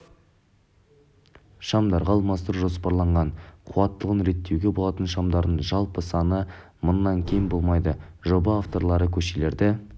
шамдарға алмастыру жоспарланған қуаттылығын реттеуге болатын шамдардың жалпы саны мыңнан кем болмайды жоба авторлары көшелерді